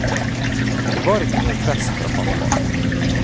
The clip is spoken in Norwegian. Det var ikke noe press fra pappa.